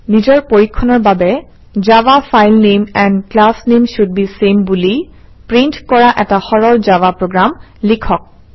নিজৰ পৰীক্ষণৰ বাবে Java file name and class name should be same বুলি প্ৰিণ্ট কৰা এটা সৰল জাভা প্ৰগ্ৰাম লিখক